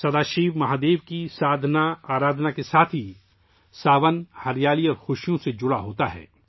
سادھنا ارادھنا کے ساتھ ہی 'ساون' ہریالی اور خوشیوں سے جڑا ہوتا ہے